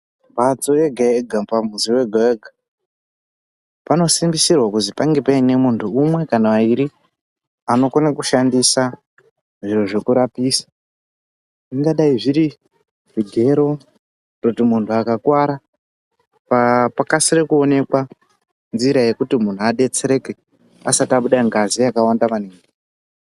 Mbatso yega yega pa muzi wega wega pano simbisirwa kuzi pange paine muntu umwe kana ayiri ano kone ku shandisa zviro zveku rapisa zvinga dai zviri zvigero kutoti muntu aka kwara pa kasire ku onekwa nzira yekuti munhu adetsereke asati abuda ngazi yaka wanda maningi.